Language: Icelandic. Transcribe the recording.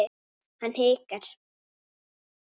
Hann hikar.